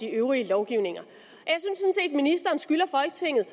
øvrige lovgivning at ministeren skylder folketinget